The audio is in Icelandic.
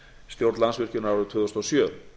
stjórn landsvirkjunar árið tvö þúsund og sjö